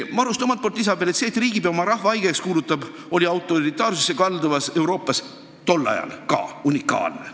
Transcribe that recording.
Maruste sõnul oli see, et riigipea oma rahva haigeks kuulutab, tol ajal autoritaarsusesse kaldunud Euroopas siiski unikaalne.